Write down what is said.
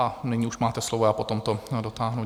A nyní už máte slovo, já potom to dotáhnu.